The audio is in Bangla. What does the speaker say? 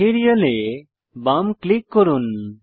ম্যাটেরিয়াল এ বাম ক্লিক করুন